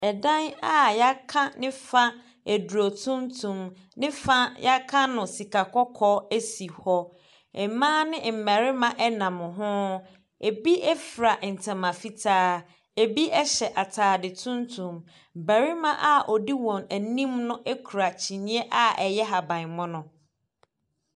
Ɛdaen a yaka ne fa eduro tuntum, ne fa yaka no sika kɔkɔɔ esi hɔ. Mbaa ne mbɛrema ɛnam ho. Ebi efra ntoma fitaa, ebi ɛhyɛ ataade tuntum. Bɛrema a odi wɔn enim no ekura kyiniiɛ a ɛyɛ habanmono.